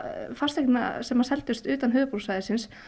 fasteigna sem seldust utan höfuðborgarsvæðisins